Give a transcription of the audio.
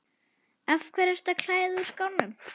Af hverju ertu að klæða þig úr skónum?